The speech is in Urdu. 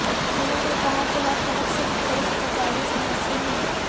انہوں نے کہا کہ ہر طرف سے مختلف تجاویز موصول ہوئی